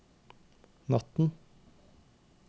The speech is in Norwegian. natten